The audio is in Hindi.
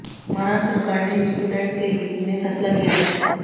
महाराष्ट्र सरकार ने स्टूडेंट्स के हित में फैसला लिया है